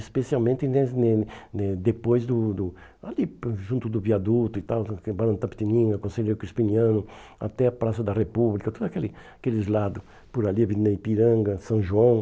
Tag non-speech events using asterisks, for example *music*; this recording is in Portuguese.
Especialmente *unintelligible* depois, do do aí junto do viaduto e tal, Barão Itapetininga, Conselheiro Crispiniano, até a Praça da República, todo aquele aqueles lados por ali, avenida Ipiranga, São João.